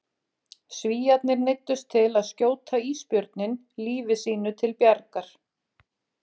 Svíarnir neyddust til að skjóta ísbjörninn lífi sínu til bjargar.